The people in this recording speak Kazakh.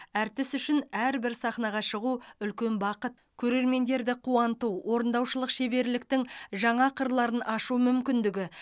әртіс үшін әрбір сахнаға шығу үлкен бақыт көрермендерді қуанту орындаушылық шеберліктің жаңа қырларын ашу мүмкіндігі